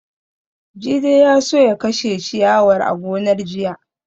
Jide ya so ya kashe ciyawar a gonar jiya